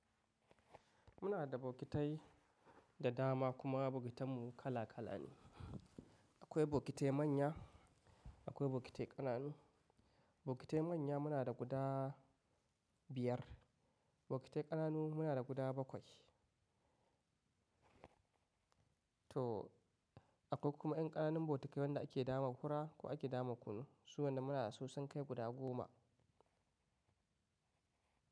Muna da bokitai da dama kuma bokitan mu kala kala ne. Akwai bokite manya, akwai bokite ƙananu. Bokite manya muna da guda biyar, bokite ƙananu muna da guda bakwai. To akwai kuma ƴan ƙananan bokitai wanda ake dama kura ko ake dama kunu. Su wanda muna da su sun kai guda goma.